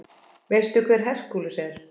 Veistu hver Hercules er?